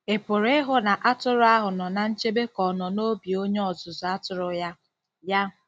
Ị̀ pụrụ ịhụ na atụrụ ahụ nọ ná nchebe ka ọ nọ n'obi onye ọzụzụ atụrụ ya? ya?